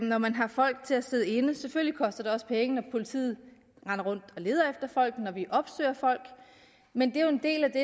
når man har folk til at sidde inde selvfølgelig koster det også penge når politiet render rundt og leder efter folk og når de opsøger folk men det er jo en del af det